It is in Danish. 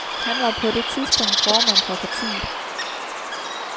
Han var på det tidspunkt formand for partiet.